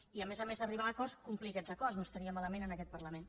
i a més a més d’arribar a acords complir aquests acords no estaria malament en aquest parlament